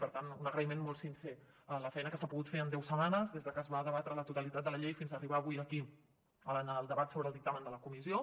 per tant un agraïment molt sincer a la feina que s’ha pogut fer en deu setmanes des de que es va debatre la totalitat de la llei fins a arribar avui aquí en el debat sobre el dictamen de la comissió